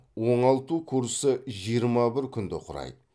оңалту курсы жиырма бір күнді құрайды